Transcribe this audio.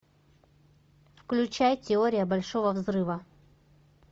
включай теория большого взрыва